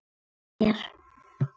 Bjargi sér.